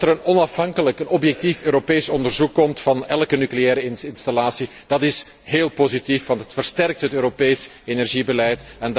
Dat er een onafhankelijk objectief Europees onderzoek van elke nucleaire installatie komt, is heel positief want het versterkt het Europees energiebeleid.